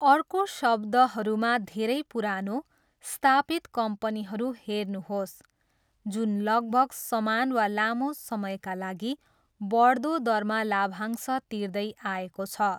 अर्को शब्दहरूमा, धेरै पुरानो, स्थापित कम्पनीहरू हेर्नुहोस् जुन लगभग समान वा लामो समयका लागि बढ्दो दरमा लाभांश तिर्दै आएको छ।